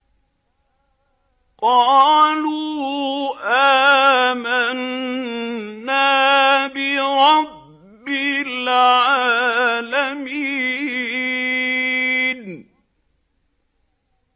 قَالُوا آمَنَّا بِرَبِّ الْعَالَمِينَ